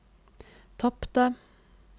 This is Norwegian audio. tapte